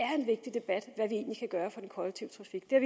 er en egentlig kan gøre for den kollektive trafik det